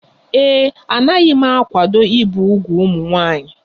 Ee e, anaghị m akwado ibi úgwù ụmụ nwanyị